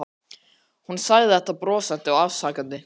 Hún sagði þetta brosandi og afsakandi.